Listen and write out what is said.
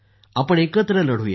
आपण एकत्र लढूया